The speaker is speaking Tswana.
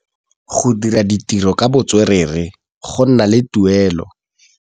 Go dira ditirô ka botswerere go na le tuelô.